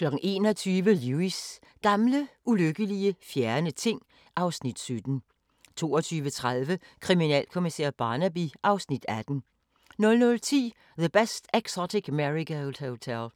21:00: Lewis: Gamle, ulykkelige, fjerne ting (Afs. 17) 22:30: Kriminalkommissær Barnaby (Afs. 18) 00:10: The Best Exotic Marigold Hotel